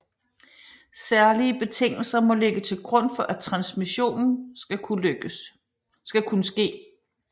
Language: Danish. Særlige betingelser må ligge til grund for at transmission skal kunne ske